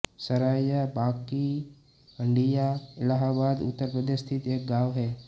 सरायाँ बाँकी हंडिया इलाहाबाद उत्तर प्रदेश स्थित एक गाँव है